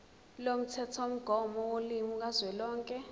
lomthethomgomo wolimi kazwelonke